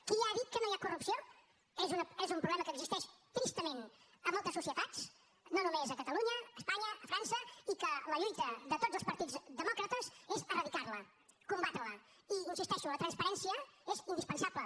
qui ha dit que no hi ha corrupció és un problema que existeix tristament a moltes societats no només a catalunya a espanya a frança i que la lluita de tots els partits demòcrates és eradicarla combatrela i hi insisteixo la transparència és indispensable